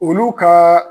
Olu ka